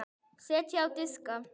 Setjið á diska.